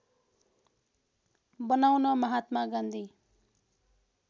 बनाउन महात्मा गान्धी